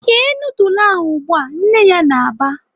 "Sie nudul ahụ ugbu a!" Nne ya na-aba.